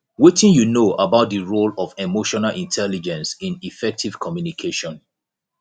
wetin you know about di role of emotional intelligence in effective communication